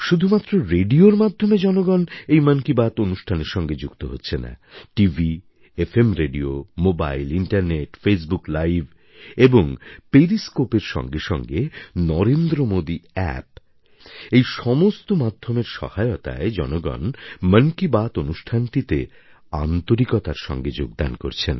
শুধুমাত্র রেডিওর মাধ্যমে জনগণ এই মন কি বাত অনুষ্ঠানের সঙ্গে যুক্ত হচ্ছে না TV FM radio mobile internet Facebook live এবং periscopeএর সঙ্গে সঙ্গে নরেন্দ্রমোদী অ্যাপ এই সমস্ত মাধ্যমের সহায়তায় জনগণ মন কি বাত অনুষ্ঠানটিতে আন্তরিকতার সঙ্গে যোগদান করছেন